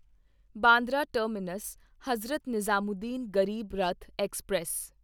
Bandra terminus Hazrat Nizamuddin Garib Rath express